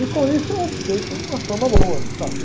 E com isso eu fiquei com uma fama boa no Safra.